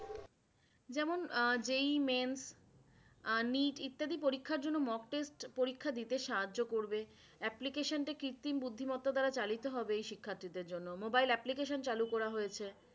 যেমন যেই ইত্যাদি পরীক্ষার জন্য mock test পরীক্ষা দিতে সাহায্য করবে। application টা কৃত্রিম বুদ্ধিমত্তা দ্বারা চালিত হবে শিক্ষার্থীদের জন্য। মোবাইল application চালু করা হয়েছে।